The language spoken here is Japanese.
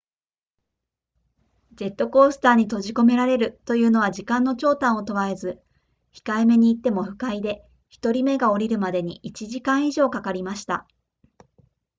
ジェットコースターに閉じ込めらるというのは時間の長短を問わず、控えめに言っても不快で、1人目が降りるまでに1時間以上かかりました」